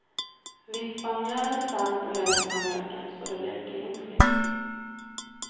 Vispa mjöl, salt och hälften av mjölken så det blir klimpfritt.